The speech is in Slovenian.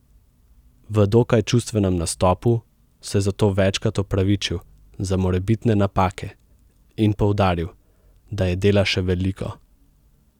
V dokaj čustvenem nastopu se je zato večkrat opravičil za morebitne napake in poudaril, da je dela še veliko.